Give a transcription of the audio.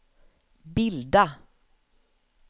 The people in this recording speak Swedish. bilda